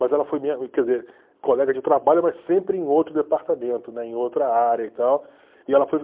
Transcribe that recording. Mas ela foi minha, quer dizer, colega de trabalho, mas sempre em outro departamento, né, em outra área e tal. E ela foi